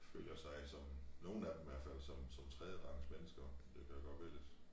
Føler sig som nogen af dem hvert fald som som tredjerangsmennesker det kan jo godt være lidt